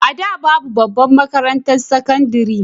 A da babu babbar makarantar sakandare